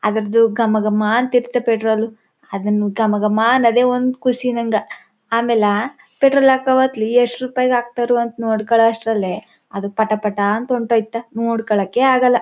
ಅದರದು ಗಮ ಗಮ ಅಂತಿರುತ್ತೆ ಪೆಟ್ರೋಲ್ ಅದೊಂದು ಗಮ ಗಮ ಅನ್ನೋದೇ ಒಂದು ಖುಷಿ ನಂಗೆ ಅಮೇಲಾ ಪೆಟ್ರೋಲ್ ಹಾಕೋ ಹೊತ್ತಲ್ಲಿ ಎಷ್ಟು ರೂಪಾಯಿದು ಹಾಕ್ತಾರೋ ಅಂತ ನೋಡ್ಕೊಳ್ಳೋ ಅಷ್ಟರಲ್ಲಿ ಅದು ಪಟಾ ಪಟಾ ಅಂತ ಹೊಂಟು ಹೋಗಿ ನೋಡ್ಕೊಳ್ಳಕ್ಕೆ ಆಗಲ್ಲ.